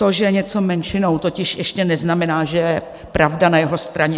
To, že je něco menšinou, totiž ještě neznamená, že je pravda na jeho straně.